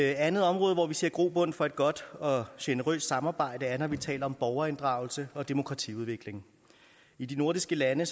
andet område hvor vi ser grobund for et godt og generøst samarbejde er når vi taler om borgerinddragelse og demokratiudvikling i de nordiske lande